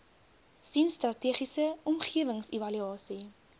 sien strategiese omgewingsevaluasie